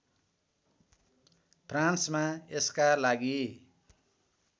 फ्रान्समा यसका लागि